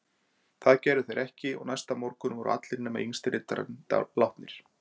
Það gerðu þeir ekki og næsta morgun voru allir nema yngsti riddarinn látnir.